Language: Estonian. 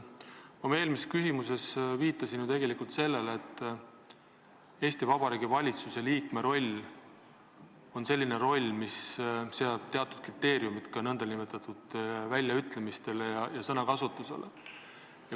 Oma eelmises küsimuses viitasin ma tegelikult sellele, et Eesti Vabariigi valitsuse liikme roll on selline, mis seab teatud kriteeriumid ka väljaütlemistele ja sõnakasutusele.